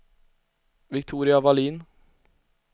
Viktoria Vallin